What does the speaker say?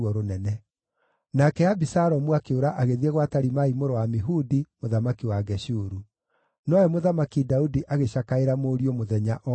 Nake Abisalomu akĩũra agĩthiĩ gwa Talimai mũrũ wa Amihudi, mũthamaki wa Geshuru. Nowe Mũthamaki Daudi agĩcakaĩra mũriũ mũthenya o mũthenya.